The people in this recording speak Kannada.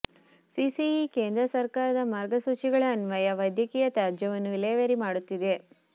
ಸಿಸಿಇ ಕೇಂದ್ರ ಸರ್ಕಾರದ ಮಾರ್ಗಸೂಚಿಗಳ ಅನ್ವಯ ವೈದ್ಯಕೀಯ ತ್ಯಾಜ್ಯವನ್ನು ವಿಲೇವಾರಿ ಮಾಡುತ್ತಿದೆ